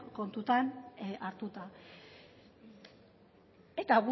kontutan hartuta eta